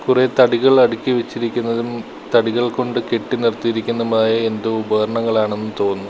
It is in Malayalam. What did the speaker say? കുറേ തടികൾ അടുക്കി വെച്ചിരിക്കുന്നതും തടികൾ കൊണ്ട് കെട്ടി നിർത്തിയിരിക്കുന്നതുമായ എന്തോ ഉപകരണങ്ങൾ ആണെന്ന് തോന്നുന്നു.